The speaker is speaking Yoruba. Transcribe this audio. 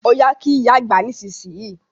Ọya kí oya àgbà nísìsiyìí!